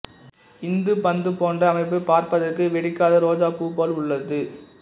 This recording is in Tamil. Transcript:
இந்த பந்துபோன்ற அமைப்பு பார்ப்பதற்கு வெடிக்காத ரோஜா பூ போல் உள்ளது